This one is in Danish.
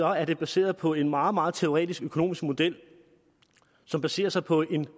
er den baseret på en meget meget teoretisk økonomisk model som baserer sig på en